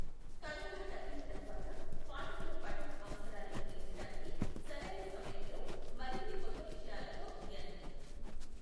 Corona తగ్గిన తర్వాత పాఠకుల పఠన అవసరాలను తీర్చడానికి సరైన సమయంలో మరిన్ని కొత్త విషయాలతో ఎన్.